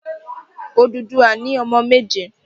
Odùduwà ni ọmọ méje.